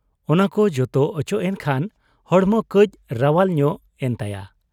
ᱚᱱᱟᱠᱚ ᱡᱚᱛᱚ ᱚᱪᱚᱜ ᱮᱱ ᱠᱷᱟᱱ ᱦᱚᱲᱢᱚ ᱠᱟᱹᱡ ᱨᱟᱟᱣᱟᱞ ᱧᱚᱜ ᱮᱱ ᱛᱟᱭᱟ ᱾